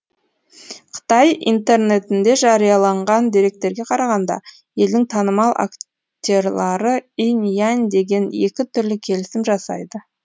қытай интернетінде жарияланған деректерге қарағанда елдің танымал актерлары инь янь деген екі түрлі келісім жасайды